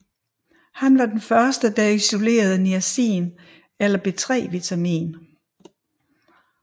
Han var den første der isolerede niacin eller B3 vitamin